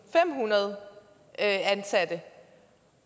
og femhundrede ansatte